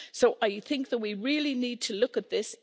I think that we really need to look at this.